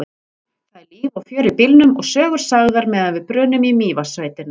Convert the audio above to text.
Það er líf og fjör í bílnum og sögur sagðar meðan við brunum í Mývatnssveitina.